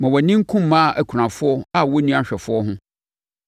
Ma wʼani nku mmaa akunafoɔ a wɔnni ahwɛfoɔ ho.